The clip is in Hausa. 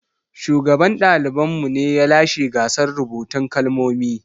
Shugaban ɗaliban mu ne ya lashe gasar rubutun kalmomi.